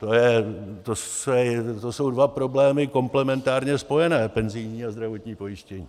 To jsou dva problémy komplementárně spojené - penzijní a zdravotní pojištění.